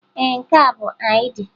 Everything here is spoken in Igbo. Ee, nke a bụ ID.